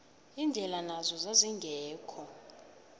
indlela nazo zazingekho